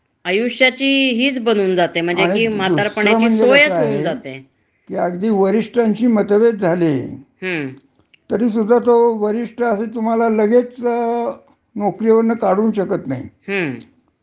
नोकरीवरन काढूशकत नाही. हं. तर त्याच्या करता त्याला म्हणजे शिस्तभंगाची कारवाई वगेरे बरच म्हणजे अस, हं. नोटीस देऊन हे करून चौकशी करून, हं. अस काही झाल तरच. हं.